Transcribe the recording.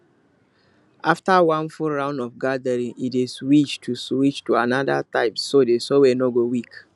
after one full round of gathering e dey switch to switch to another type so the soil no go weak